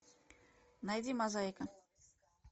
найди мозаика